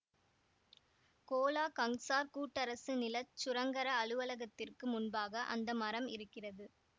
Cola Kangsar கூட்டரசு நில சுரங்கர அலுவலகத்திற்கு முன்பாக அந்த மரம் இருக்கிறது